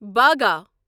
باگا